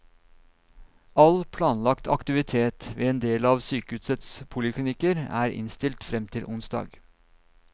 All planlagt aktivitet ved en del av sykehusets poliklinikker er innstilt frem til onsdag.